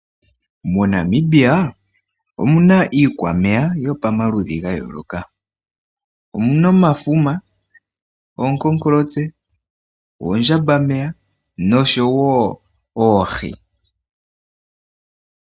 Mo Namibia omuna iikwameya yopamaludhi ga yooloka. Omuna omafuma, oonkonkolotse, oondjambameya noshowo oohi.